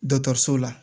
so la